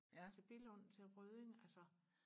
til Billund til Rødding altså